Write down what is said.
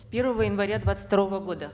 с первого января двадцать второго года